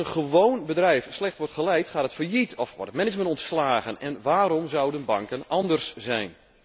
Als een gewoon bedrijf slecht wordt geleid, gaat het failliet of wordt het management ontslagen en waarom zouden banken anders zijn?